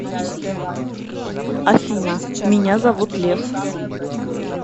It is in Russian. афина меня зовут лев